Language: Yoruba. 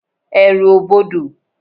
Èrù o bọdọ